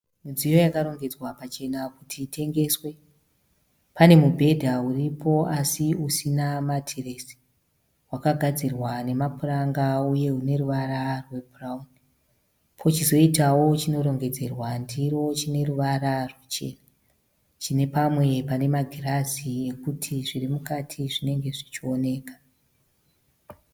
Midziyo yakarongedzwa pachena kuti itengeswe. Pane mubhedha uripo asi usina matiresi. Wakagadzirwa nemapuranga uye une ruvara rwebhurauni. Pochizoitawo chinorongedzerwa ndiro chine ruvara ruchena. Chine pamwe pane magirazi ekuti zviri mukati zvinenge zvichioneka.